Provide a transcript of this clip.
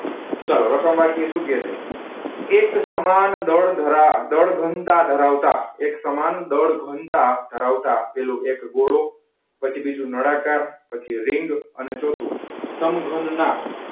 ચલો સુ કે છે. એક સમાન દળ ધરા દળઘનતા ધરાવતા એક સમાન દળ ઘનતા ધરાવતા પેલું એક ગોળો, પછી બીજું નાળાકાર, પછી રીંગ અને ચોથુ સમઘનના.